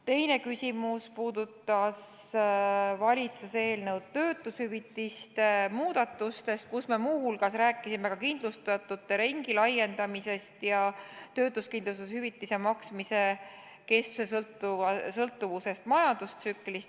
Teine küsimus puudutas valitsuse eelnõu töötushüvitiste muudatuste kohta, kus me muu hulgas rääkisime kindlustatute ringi laiendamisest ja töötuskindlustushüvitise maksmise kestuse sõltuvusest majandustsüklist.